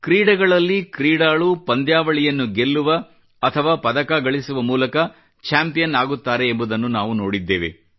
ಕ್ರೀಡೆಗಳಲ್ಲಿ ಕ್ರೀಡಾಳುಗಳು ಪಂದ್ಯಾವಳಿಯನ್ನು ಗೆಲ್ಲುವ ಅಥವಾ ಪದಕ ಗಳಿಸುವ ಮೂಲಕ ಚಾಂಪಿಯನ್ ಆಗುತ್ತಾರೆ ಎಂಬುದನ್ನು ನಾವು ನೋಡಿದ್ದೇವೆ